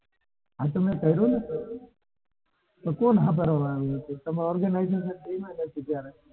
હા તો મેં કર્યું ને કોણ સાંભળવા વાળું હતું? તમારા organizer કોણ આવ્યું?